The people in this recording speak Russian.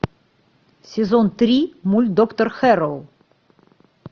сезон три мульт доктор хэрроу